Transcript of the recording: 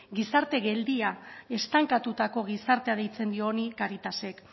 gizarte geldia estankatutako gizartea deitzen dio honi caritasek